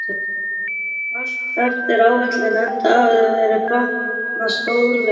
Þá gekk allt eftir áætlun enda hafði veður batnað stórlega.